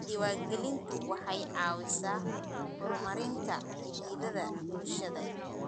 Diiwaangelintu waxay caawisaa horumarinta xidhiidhada bulshada.